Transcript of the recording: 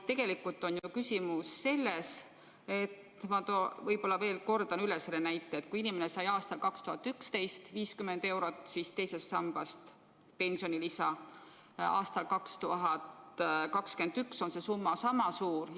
Tegelikult on ju küsimus selles, ma kordan selle näite üle, et kui inimene sai aastal 2011 umbes 50 eurot teisest sambast pensionilisa, siis aastal 2021 on see summa sama suur.